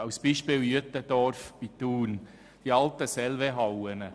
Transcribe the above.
Ein Beispiel sind die alten Selve-Hallen bei Uetendorf bei Thun.